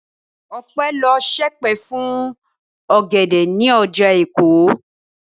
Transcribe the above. Ọpẹ́ lọ ṣèpè fún ọ̀gẹ̀dẹ̀ ní ọjà Èkó.